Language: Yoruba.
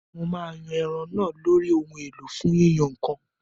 Mo máa yan ẹran náà lórí ohun èlò fún yíyan nǹkan